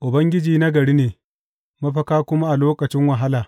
Ubangiji nagari ne, mafaka kuma a lokacin wahala.